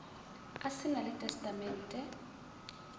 a se na le testamente